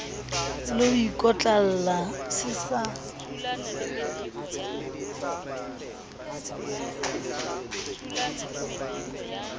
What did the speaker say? le ho ikotlolla se sa